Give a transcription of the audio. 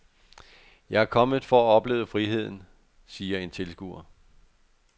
Jeg er kommet for at opleve friheden, siger en tilskuer.